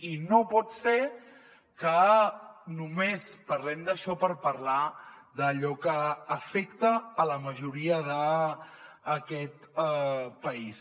i no pot ser que només parlem d’això per parlar d’allò que afecta la majoria d’aquest país